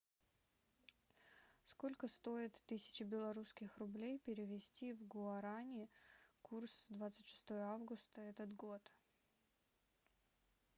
сколько стоит тысяча белорусских рублей перевести в гуарани курс двадцать шестое августа этот год